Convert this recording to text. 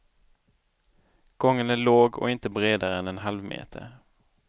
Gången är låg och inte bredare än en halvmeter.